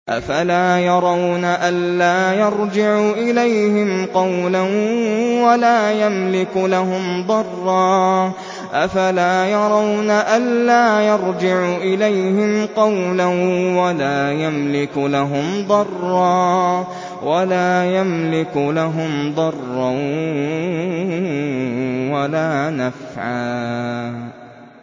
أَفَلَا يَرَوْنَ أَلَّا يَرْجِعُ إِلَيْهِمْ قَوْلًا وَلَا يَمْلِكُ لَهُمْ ضَرًّا وَلَا نَفْعًا